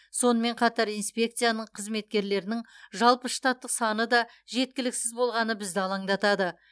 сонымен қатар инспекцияның қызметкерлерінің жалпы штаттық саны да жеткіліксіз болғаны бізді алаңдатады